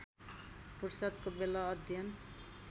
फुर्सदको बेला अध्ययन